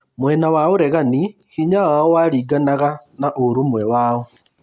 Mwena wa ũregani hĩnya wao waringanaga na ũrũmwe wao